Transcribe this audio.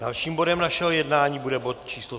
Dalším bodem našeho jednání bude bod číslo